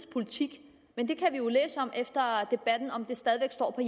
politik men vi kan jo efter debatten læse om det stadig væk står på